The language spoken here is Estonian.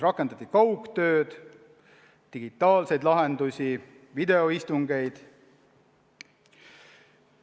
Rakendati kaugtööd, digitaalseid lahendusi, videoistungeid.